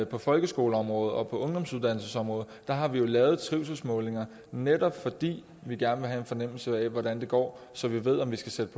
på folkeskoleområdet og på ungdomsuddannelsesområdet og der har vi lavet trivselsmålinger netop fordi vi gerne vil have en fornemmelse af hvordan det går så vi ved om vi skal sætte